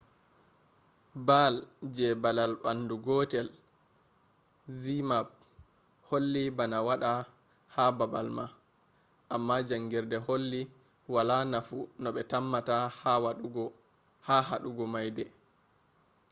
baal je balal bandu gotel zmapp holli bana wada ha babal ma amma jangirde holli wala nafu no be tammata ha hadugo maide